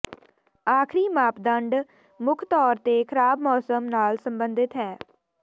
ਆਖਰੀ ਮਾਪਦੰਡ ਮੁੱਖ ਤੌਰ ਤੇ ਖ਼ਰਾਬ ਮੌਸਮ ਨਾਲ ਸਬੰਧਤ ਹੈ